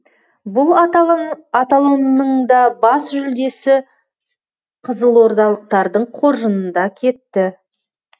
бұл аталымның да бас жүлдесі қызылордалықтардың қоржынында кетті